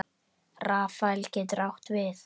Rafael getur átt við